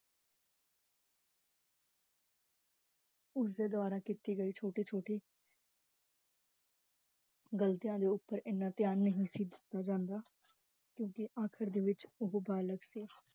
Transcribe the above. ਉਸ ਦੇ ਦ੍ਵਾਰਾ ਕੀਤੀ ਗਈ ਛੋਟੀ ਛੋਟੀ ਗਲਤੀਆਂ ਦੇ ਉਪਰ ਇੰਨਾ ਧਿਆਨ ਨਹੀ ਸੀ ਦਿੱਤਾ ਜਾਂਦਾ, ਕਿਓਂਕਿ ਆਖਰ ਦੇ ਵਿਚ ਓਹੋ ਬਲਾਕ ਸੀ